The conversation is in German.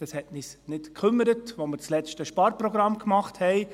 Das hat uns nicht gekümmert, als wir das letzte Sparprogramm gemacht haben.